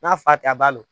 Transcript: N'a fa tɛ a b'a dɔn